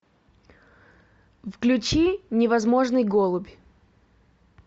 включи невозможный голубь